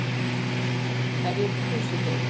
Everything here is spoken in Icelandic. Hverjir kusu þig?